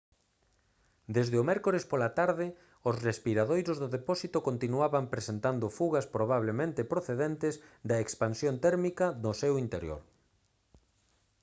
desde o mércores pola tarde os respiradoiros do depósito continuaban presentado fugas probablemente procedentes da expansión térmica no seu interior